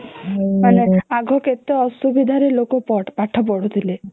ମାନେ ଆଗ କେତେ ଅସୁବିଧା ରେ ଲୋକ ପାଠ ପଢୁଥିଲେ